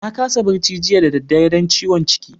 Na kasa barci jiya da dare dan ciwon ciki.